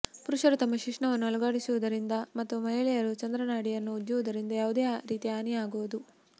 ಪುರುಷರು ತಮ್ಮ ಶಿಶ್ನವನ್ನು ಅಲುಗಾಡಿಸುವುದರಿಂದ ಮತ್ತು ಮಹಿಳೆಯರು ಚಂದ್ರನಾಡಿಯನ್ನು ಉಜ್ಜುವುದರಿಂದ ಯಾವುದೇ ರೀತಿಯ ಹಾನಿಯಾಗದು